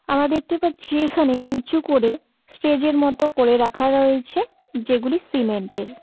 আমার দেখতে পাচ্ছি এখানে উঁচু করে স্টেজ -এর মতো করে রাখা রয়েছে যেগুলি সিমেন্ট -এর।